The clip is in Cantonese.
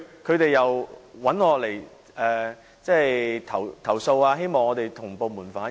他們向我們投訴，希望我們向部門反映。